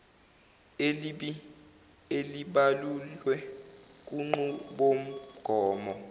elibi elibalulwe kunqubomgomo